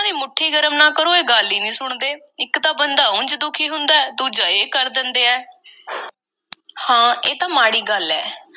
ਦੀ ਮੁੱਠੀ ਗਰਮ ਨਾ ਕਰੋ, ਇਹ ਗੱਲ ਈ ਨਹੀਂ ਸੁਣਦੇ। ਇੱਕ ਤਾਂ ਬੰਦਾ ਉਂਝ ਦੁਖੀ ਹੁੰਦੈ, ਦੂਜੇ ਇਹ ਕਰ ਦਿੰਦੇ ਆ- ਹਾਂ, ਇਹ ਤਾਂ ਮਾੜੀ ਗੱਲ ਐ।